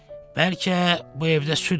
Bəlkə bu evdə süd var?